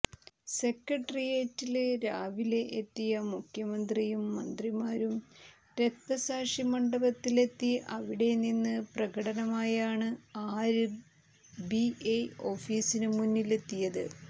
സെക്രട്ടേറിയറ്റില് രാവിലെ എത്തിയ മുഖ്യമന്ത്രിയും മന്ത്രിമാരും രക്തസാക്ഷി മണ്ഡപത്തിലെത്തി അവിടെ നിന്ന് പ്രകടനമായാണ് ആര് ബി ഐ ഓഫീസിന് മുന്നിലെത്തിയത്